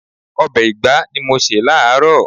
Ọbẹ̀ ìgbá ni mo se láaaro.